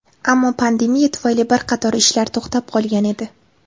Ammo pandemiya tufayli bir qator ishlar to‘xtab qolgan edi.